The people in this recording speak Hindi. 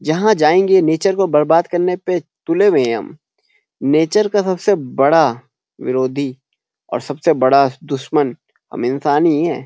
जहाँ जाएंगे नेचर को बर्बाद करने पे तुले हुए हैं हम नेचर का सबसे बड़ा विरोधी और सबसे बड़ा दुश्मन हम इंसान ही हैं।